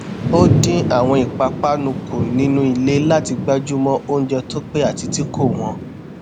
ó dín àwọn ìpàpánu kù nínú ilé láti gbájúmọ oúnjẹ tó pé àti tí kò wọn